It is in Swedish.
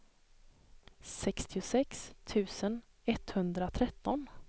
sextiosex tusen etthundratretton